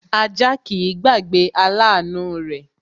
Ajá kìí gbàgbé aláàánú rẹ̀